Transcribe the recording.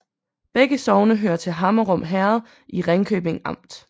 Begge sogne hørte til Hammerum Herred i Ringkøbing Amt